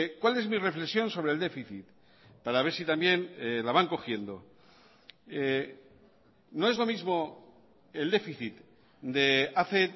cuál es mi reflexión sobre el déficit para ver si también la van cogiendo no es lo mismo el déficit de hace